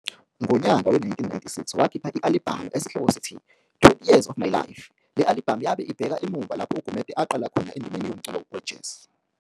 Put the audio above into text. Ngonyaka we-1996 wakhipha i-alibhamu esihloko sithi "20 Years of My life", le alibhamu yabe ibheka emuva lapho uGumede aqala khona endimeni yomculo we-jazz.